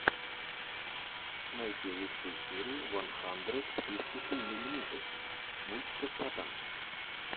найти лучшую серию ван хандрэд фифти ту миллимитэс мультиков про танки